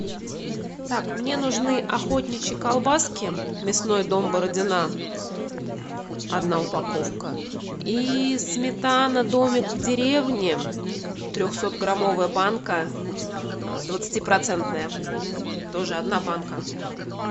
так мне нужны охотничьи колбаски мясной дом бородина одна упаковка и сметана домик в деревне трехсотграммовая банка двадцати процентная тоже одна банка